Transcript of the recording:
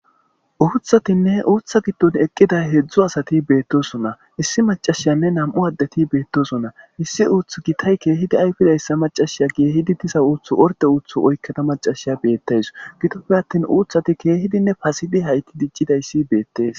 Uuththatinne uuththa giddon eqqida heedzdzu asati beettosona issi maccashiyanne nam'u addeti beettosonna issi uuththa gitay keehidi ayfidayssa maccashiya keehidi diza uuththu orde uuththu oykkada ha maccashiya beettawus gidoppe attin uuththati keehidinne pasidi hayti diccidayssi beettes.